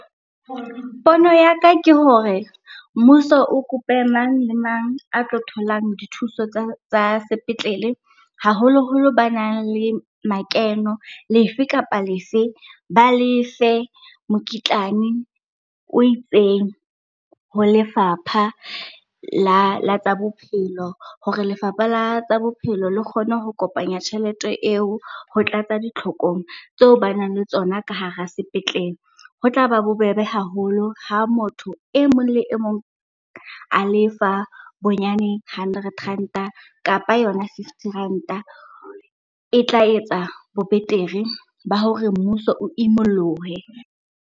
Pono ya ka ke hore mmuso o kope mang le mang a tlo tholang dithuso tsa sepetlele, haholoholo ba nang le makeno lefe kapa lefe. Ba lefe mokitlane o itseng ho lefapha la tsa bophelo hore lefapha la bophelo le kgone ho kopanya tjhelete eo ho tlatsa ditlhokong tseo ba nang le tsona ka hara sepetlele. Ho tla ba bobebe haholo ha motho e mong le e mong a lefa bonyane hundred ranta kapa yona fifty ranta, e tla etsa bo betere ba hore mmuso o imollohe.